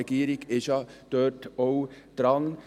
Die Regierung ist da ja auch dran.